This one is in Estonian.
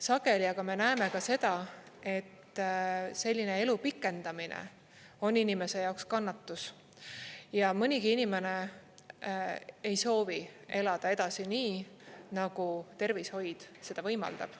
Sageli aga me näeme ka seda, et selline elu pikendamine on inimese jaoks kannatus ja mõnigi inimene ei soovi elada edasi nii, nagu tervishoid seda võimaldab.